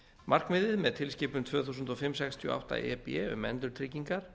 markmiðið með tilskipun tvö þúsund og fimm sextíu og átta e b um endurtryggingar